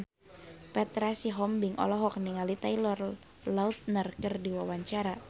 Petra Sihombing olohok ningali Taylor Lautner keur diwawancara